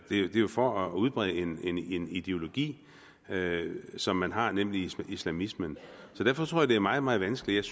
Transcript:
er jo for at udbrede en ideologi som man har nemlig islamismen derfor tror jeg at det er meget meget vanskeligt